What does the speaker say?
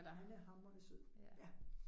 Han er hamrende sød, ja